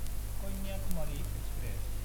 Kanyakumari express